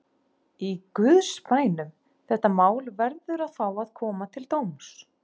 Í guðs bænum: þetta mál verður að fá að koma til dóms.